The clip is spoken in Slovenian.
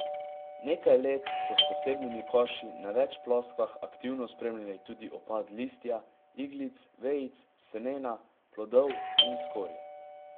Nekaj let so s posebnimi koši na več ploskvah aktivno spremljali tudi opad listja, iglic, vejic, semena, plodov in skorje.